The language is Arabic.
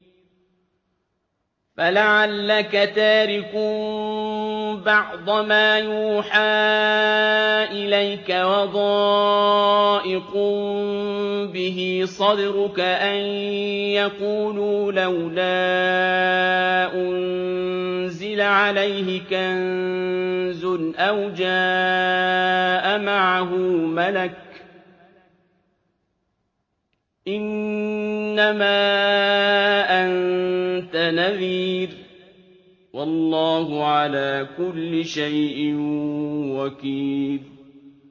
فَلَعَلَّكَ تَارِكٌ بَعْضَ مَا يُوحَىٰ إِلَيْكَ وَضَائِقٌ بِهِ صَدْرُكَ أَن يَقُولُوا لَوْلَا أُنزِلَ عَلَيْهِ كَنزٌ أَوْ جَاءَ مَعَهُ مَلَكٌ ۚ إِنَّمَا أَنتَ نَذِيرٌ ۚ وَاللَّهُ عَلَىٰ كُلِّ شَيْءٍ وَكِيلٌ